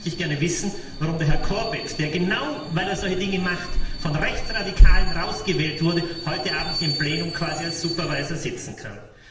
Außerdem möchte ich gerne wissen, warum Herr Corbett, der, genau weil er solche Dinge macht, von Rechtsradikalen rausgewählt wurde, heute Abend im Plenum quasi als Supervisor sitzen kann.